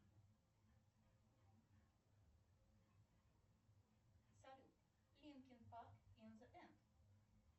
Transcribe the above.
салют линкин парк ин зе энд